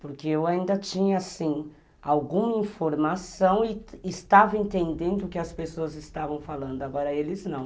Porque eu ainda tinha, assim, alguma informação e estava entendendo o que as pessoas estavam falando, agora eles não.